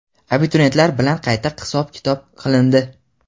Abituriyentlar bilan qayta hisob-kitob qilindi.